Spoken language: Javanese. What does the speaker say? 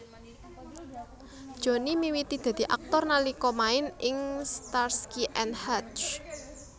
Johnny miwiti dadi aktor nalika main ing Starsky and Hutch